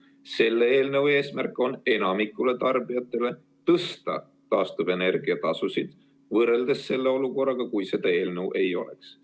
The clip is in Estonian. Selle eelnõu eesmärk on tõsta taastuvenergia tasusid enamikule tarbijatele, võrreldes olukorraga, kui seda eelnõu ei oleks.